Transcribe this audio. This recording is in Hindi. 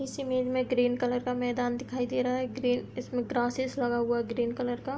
इस इमेज में ग्रीन कलर का मैदान दिखाई दे रहा है। ग्रीन इसमें ग्रे ग्रासेस लगा हुआ है ग्रीन कलर का।